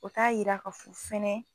O taa yira ka fɔ fɛnɛ